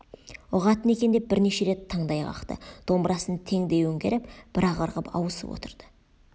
ұғатын екен деп бірнеше рет таңдай қақты домбырасын теңдей өңгеріп бір-ақ ырғып ауысып отырды